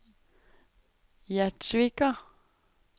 Gjerdsvika